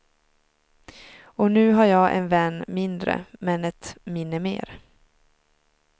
Och nu har jag en vän mindre, men ett minne mer.